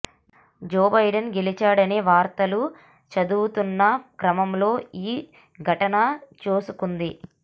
జో Biden గెలిచాడనే వార్తలు చదువుతున్న క్రమంలో ఈ ఘటన చోసుకుంది